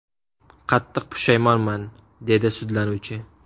Qattiq pushaymonman”, dedi sudlanuvchi.